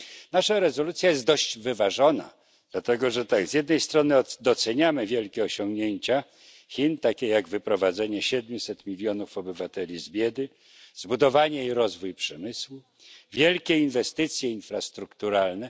Nasza rezolucja jest dość wyważona, dlatego że z jednej strony doceniamy wielkie osiągnięcia Chin, takie jak wyprowadzenie 700 mln obywateli z biedy, zbudowanie i rozwój przemysłu, wielkie inwestycje infrastrukturalne.